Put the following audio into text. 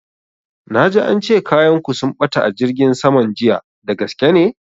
Na ji ance kayan ku sun ɓata a jirgin saman jiya, dagaske ne?